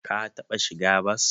Ka taɓa shiga bas?